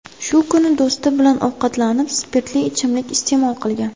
Shu kuni do‘sti bilan ovqatlanib, spirtli ichimlik iste’mol qilgan.